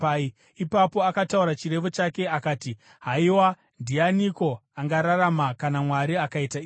Ipapo akataura chirevo chake akati: “Haiwa, ndianiko angararama kana Mwari akaita izvi?